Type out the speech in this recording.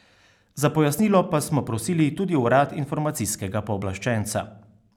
Za pojasnilo pa smo prosili tudi urad informacijskega pooblaščenca.